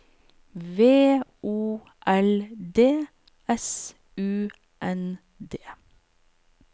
V O L D S U N D